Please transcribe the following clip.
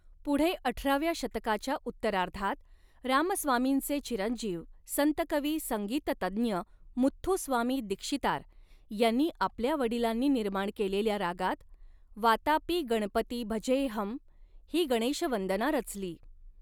पुढे अठराव्या शतकाच्या उत्तरार्धात रामस्वामींचे चिरंजीव संतकवी संगीत तज्ञ मुथ्थुस्वामी दीक्षितार यांनी आपल्या वडिलांनी निर्माण केलेल्या रागात वातापि गणपती भजेऽहं ही गणेशवंदना रचली.